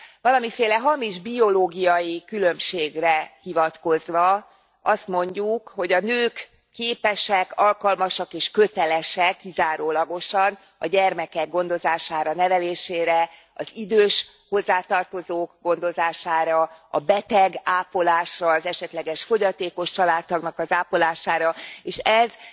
Valamiféle hamis biológia különbségre hivatkozva azt mondjuk, hogy a nők képesek, alkalmasak és kötelesek kizárólagosan a gyermekek gondozására, nevelésére, az idős hozzátartozók gondozására, a betegápolásra, az esetleges fogyatékos családtagnak az ápolására, és ez